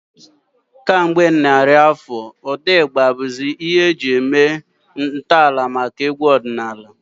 Ụda ndị na-ada ụda nke Igba ewepụtala ntọala maka egwu ọdịnala Igbo kemgbe ọtụtụ narị afọ.